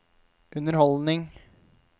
underholdning